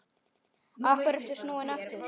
Af hverju ertu snúinn aftur?